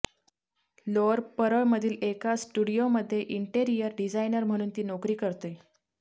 lower परळमधील एका स्टुडीओमध्ये इंटेरियर डिझायनर म्हणून ती नोकरी करते